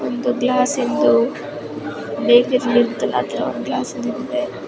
ಒಂದು ಗ್ಲಾಸ್ ಇದ್ದು ಹತ್ರ ಒಂದು ಗ್ಲಾಸ್ ಇರುತ್ತೆ.